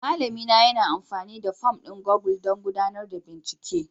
Malamina yana amfani da fom ɗin Google don gudanar da bincike